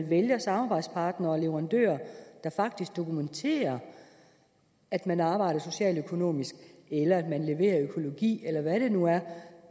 vælger samarbejdspartnere og leverandører der faktisk dokumenterer at man arbejder socialøkonomisk eller at man leverer økologi eller hvad det nu er